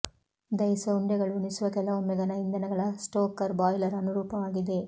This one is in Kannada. ದಹಿಸುವ ಉಂಡೆಗಳು ಉಣಿಸುವ ಕೆಲವೊಮ್ಮೆ ಘನ ಇಂಧನಗಳ ಸ್ಟೋಕರ್ ಬಾಯ್ಲರ್ ಅನುರೂಪವಾಗಿದೆ